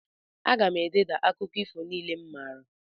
Aga m ededa akụkọ ifo niile m maara.